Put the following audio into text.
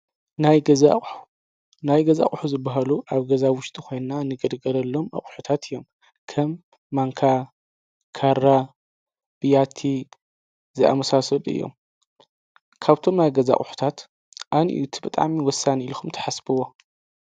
ናናይ ገዛቑሑ ዝበሃሉ ኣብ ገዛውሽቲ ኾንና ንገድገለሎም ኣቝሑታት እዮም ከም ማንካ ካራ ቢያቲ ዝኣሙሳሰድ እዮም ካብቶም ናይ ገዛቑሑታት ኣን እዩ ትበጣሚ ወሳኒን ኢልኹም ተሓስብዎ